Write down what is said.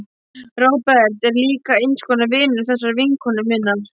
Róbert er líka eins konar vinur þessarar vinkonu minnar.